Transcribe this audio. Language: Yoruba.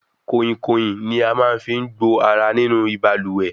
Koinkoin ni a fí máa ń gbo ará nínú ibalúwẹ́